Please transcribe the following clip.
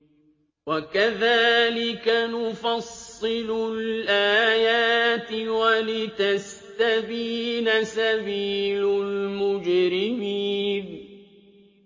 وَكَذَٰلِكَ نُفَصِّلُ الْآيَاتِ وَلِتَسْتَبِينَ سَبِيلُ الْمُجْرِمِينَ